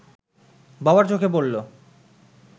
বাবার চোখে পড়ল